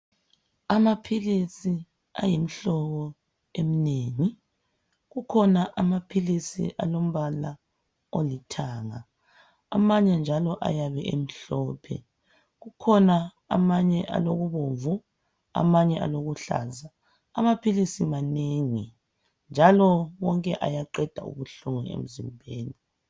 Amaphilisi ayimihlobo eminengi kukhona amaphilisi alombala olithanga amanye njalo ayabe emhlophe kukhona amanye alokubomvu amanye alokuluhlaza amaphilisi manengi njalo wonke ayaqeda ubuhlungu emzimbeni.